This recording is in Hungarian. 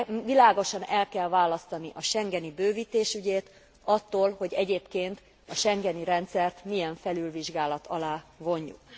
Világosan el kell választani a schengeni bővítés ügyét attól, hogy egyébként a schengeni rendszert milyen felülvizsgálat alá vonjuk.